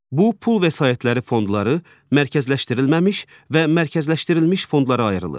Bu pul vəsaitləri fondları mərkəzləşdirilməmiş və mərkəzləşdirilmiş fondlara ayrılır.